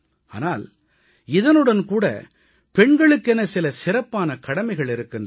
ஆனால் இதனுடன் கூட பெண்களுகென சில சிறப்பான கடமைகள் இருக்கின்றன